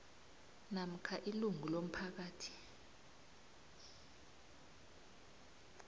namkha ilungu lomphakathi